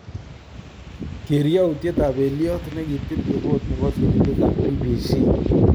Keer yautiet ab peliot nekitil ripot nebo sirindet ab BBC